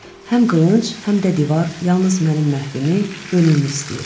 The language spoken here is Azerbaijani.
Həm qılınc, həm də divar yalnız mənim məhvimi, ölümümü istəyir.